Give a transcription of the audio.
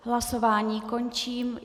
Hlasování končím.